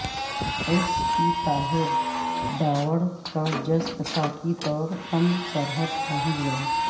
S P Tahir Dawar کا جسد خاکی طورخم سرحد پہنچ گیا